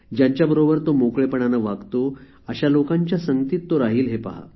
ज्यांच्याबरोबर तो मोकळेपणाने वागतो अशा लोकांच्या संगतीत तो राहील हे पहा